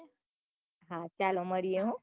ચાલો મળીયે હો